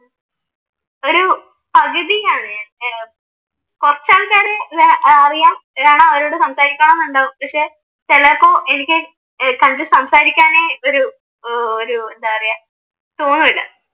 പകുതിയാണ് ഞാൻ ഏർ കുറച്ചാൾക്കാരെ അറിയാം അതുകാരണം അവരോടു സംസാരിക്കണമെന്നുണ്ടാവും പക്ഷെ ചിലപ്പോ എനിക്ക് കണ്ടു സംസാരിക്കാനേ ഒരു ഏർ ഒരു എന്താ പറയാ തോന്നൂല.